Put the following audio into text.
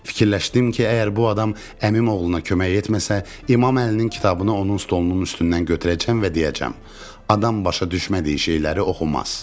Fikirləşdim ki, əgər bu adam əmim oğluna kömək etməsə, İmam Əlinin kitabını onun stolunun üstündən götürəcəm və deyəcəm: "Adam başa düşmədiyi şeyləri oxumaz."